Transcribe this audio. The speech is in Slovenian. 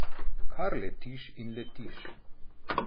Kar letiš in letiš.